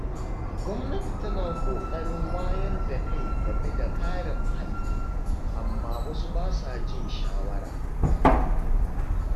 Gwamnati tana ƙoƙarin wayar da kai game da kare muhalli, amma wasu ba sa jin shawara.